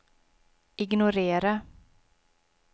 ignorera